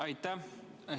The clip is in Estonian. Aitäh!